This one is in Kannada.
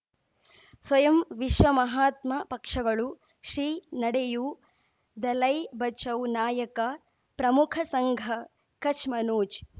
ಸ್ವಯಂ ವಿಶ್ವ ಮಹಾತ್ಮ ಪಕ್ಷಗಳು ಶ್ರೀ ನಡೆಯೂ ದಲೈ ಬಚೌ ನಾಯಕ ಪ್ರಮುಖ ಸಂಘ ಕಚ್ ಮನೋಜ್